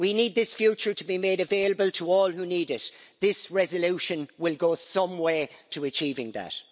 We need this future to be made available to all who need it. This resolution will go some way to achieving that.